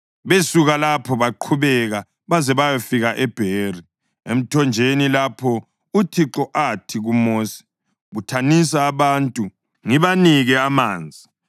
Besuka lapho baqhubeka baze bayafika eBheri, emthonjeni lapho uThixo athi kuMosi, “Buthanisa abantu ngibanike amanzi.”